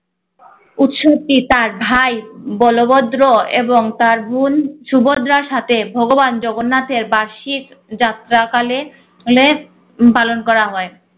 উৎসবটি তার ভাই বলবদ্র এবং তার বোন সুভদ্রার সাথে ভগবান জগন্নাথের বার্ষিক যাত্রা কালে পালন করা হয়।